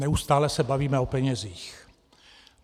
Neustále se bavíme o penězích.